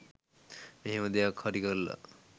මෙහෙම දෙයක් හරි කරලා